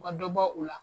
U ka dɔ bɔ u la